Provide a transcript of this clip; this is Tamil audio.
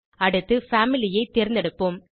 அடுத்து பாமிலி ஐ தேர்ந்தெடுப்போம்